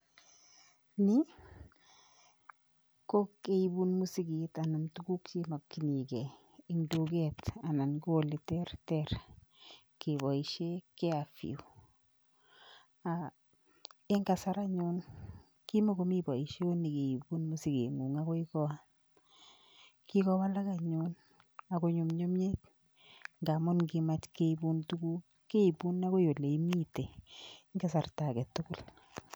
Ni ko keibun masiget anan tuguuk che makyinigei en tuget anan ko ole terter kebaishee [carrefour] en kasar anyuun kimakomii baisheen me keibuun masiget nguung agoi koot kikowalak anyuun ago nyumnyumiit nkamuun kimaach keibuun tuguuk keibuun agoi ole imiten en kasarta age tugul.